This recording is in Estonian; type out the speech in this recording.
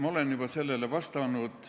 Ma olen juba sellele vastanud.